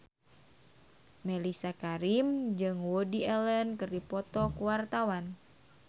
Mellisa Karim jeung Woody Allen keur dipoto ku wartawan